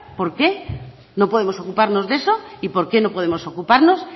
por qué no podemos ocuparnos de eso y por qué no podemos ocuparnos